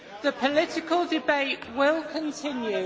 The political debate will continue.